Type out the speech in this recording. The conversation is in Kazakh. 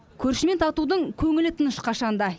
көршімен татудың көңілі тыныш қашан да